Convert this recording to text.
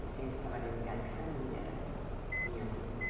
E eu sempre trabalhando em casa de família, era assim, minha vida.